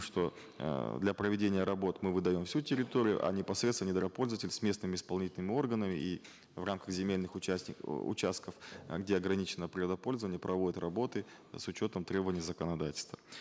что э для проведения работ мы выдаем всю территорию а непосредственно недропользователь с местными исполнительными органами и в рамках земельных э участков где ограничено природопользование проводит работы с учетом требования законодательства